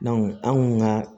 an kun ka